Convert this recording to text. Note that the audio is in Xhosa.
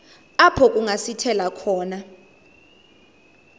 apho kungasithela khona